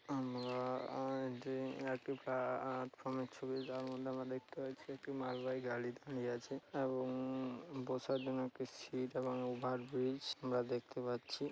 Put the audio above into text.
আমরা আ এ যে একটি প্লাটফর্মের ছবি যার মধ্যে আমরা দেখতে পাচ্ছি। একটি মালবাহী গাড়ি দাঁড়িয়ে আছে এবং উম বসার জন্য একটি সিট এবং ওভারব্রিজ আমরা দেখতে পাচ্ছি।